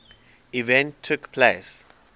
event took place